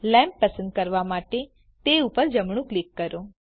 lamp પસંદ કરવા માટે તે ઉપર જમણું ક્લિક કરો